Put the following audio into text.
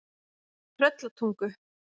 Tröllatungu